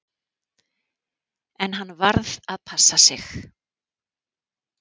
En hann varð að passa sig.